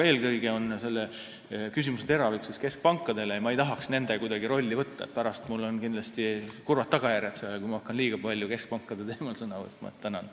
Eelkõige oli teie küsimuse teravik suunatud keskpankadele, aga ma ei tahaks kuidagi võtta nende rolli ega hakata liiga palju nende nimel sõna võtma, sest muidu võivad sellel olla kurvad tagajärjed.